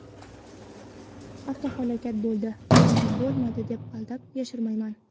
Avtohalokat bo‘ldi, buni bo‘lmadi deb aldab, yashirmayman.